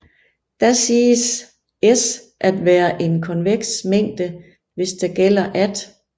Da siges S at være en konveks mængde hvis der gælder at